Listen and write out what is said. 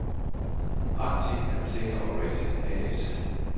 Arctic Container Operation A/S